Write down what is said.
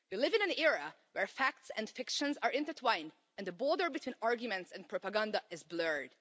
We live in an era where facts and fiction are intertwined, and the border between arguments and propaganda is blurred.